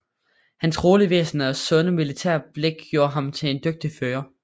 Hans rolige væsen og sunde militære blik gjorde ham til en dygtig fører